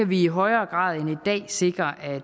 vi i højere grad end i dag sikre at